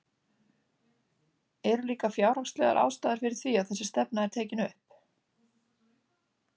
Eru líka fjárhagslegar ástæður fyrir því að þessi stefna er tekin upp?